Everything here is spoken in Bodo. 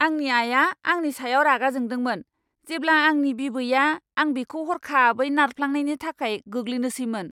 आंनि आया आंनि सायाव रागा जोंदोंमोन जेब्ला आंनि बिबैआ आं बिखौ हरखाबै नारफ्लांनायनि थाखाय गोग्लैनोसैमोन।